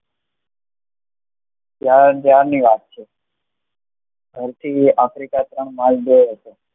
ત્યાર ત્યાંર ની વાત છે દક્ષિણાફ્રિકા માં